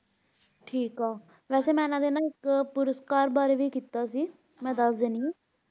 ਠੀਕ ਆ, ਵਸੇ ਮਈ ਇਹਨਾਂ ਦੇ ਇੱਕ ਪੁਰਸਕਾਰ ਬਾਰੇ ਵੀ ਕੀਤਾ ਸੀ ਮੈਂ ਦੱਸ ਦਿਨੀ ਆਇਹਨਾਂ ਨੂੰ ਉੱਨੀ ਸੌ ਬਾਹਠ ਦਾ